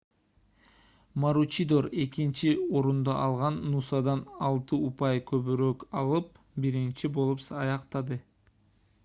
маручидор экинчи орунду алган нусадан алты упай көбүрөөк алып биринчи болуп аяктады